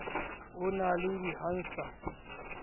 ho na le di hansard